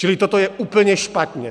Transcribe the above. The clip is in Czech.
Čili toto je úplně špatně.